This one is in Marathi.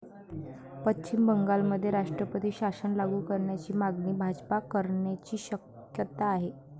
पश्चिम बंगालमध्ये राष्ट्रपती शासन लागू करण्याची मागणी भाजपा करण्याची शक्यता आहे.